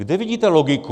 Kde vidíte logiku?